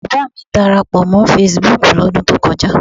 Bàbá à mi darapọ̀ mọ́ fesibúùkù lọ́dún tó kọjá.